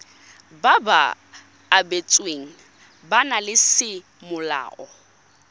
ba ba abetsweng bana semolao